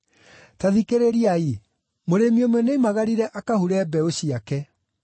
“Ta thikĩrĩriai! Mũrĩmi ũmwe nĩoimagarire akahure mbeũ ciake.